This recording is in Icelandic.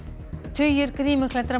tugir